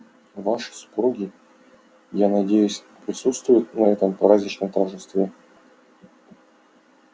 ваши супруги я надеюсь присутствуют на этом праздничном торжестве